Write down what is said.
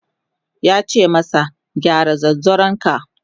yace masa "gyara zanzaron ka!"